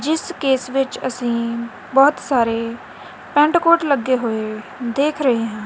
ਜਿੱਸ ਕੇਸ ਵਿੱਚ ਅੱਸੀਂ ਬਹੁਤ ਸਾਰੇ ਪੈਂਟ ਕੋਟ ਲੱਗੇ ਹੋਏ ਦੇਖ ਰਹੇ ਹਾਂ।